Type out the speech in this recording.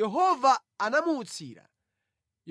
Yehova anamuutsira